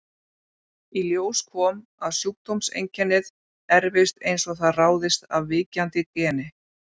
Í ljós kom að sjúkdómseinkennið erfist eins og það ráðist af víkjandi geni.